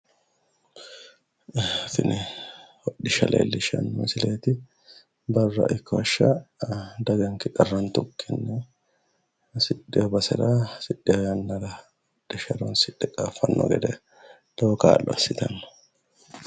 Tini hodhishsha leellishshanno misileeti barra ikko hashsha daganke qarrantukki hasidhino basera hasidhino yannara hodhishsha horoonsidhe qaaffanni gede lowo kaa'lo assitanno.